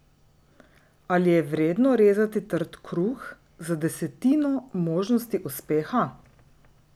Ali je vredno rezati trd kruh za desetino možnosti uspeha?